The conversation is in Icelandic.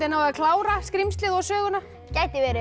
náið að klára skrímslið og söguna gæti verið